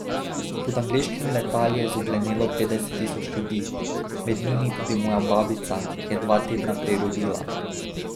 Pod angleškimi letali je zoglenelo petdeset tisoč ljudi, med njimi tudi moja babica, ki je dva tedna prej rodila.